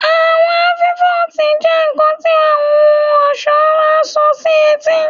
Awọn afikọti jẹ nkan ti ohun ọṣọ ti a so si eti